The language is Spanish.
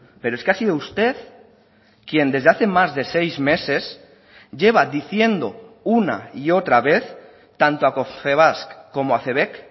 pero es que ha sido usted quien desde hace más de seis meses lleva diciendo una y otra vez tanto a confebask como a cebek